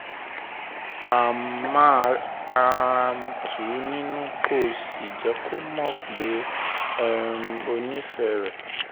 um máa um tù ú nínú kó o sì jẹ́ kó mọ̀ pé um o nífẹ̀ẹ́ rẹ̀